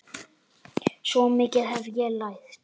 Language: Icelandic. Svo mikið hef ég lært.